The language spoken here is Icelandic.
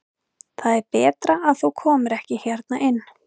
Það er betra að þú komir ekki hérna inn.